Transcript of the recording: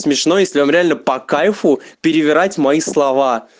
смешной если вам реально по кайфу перебирать мои слова